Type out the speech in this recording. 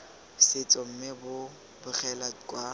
setso mme bo begela kwa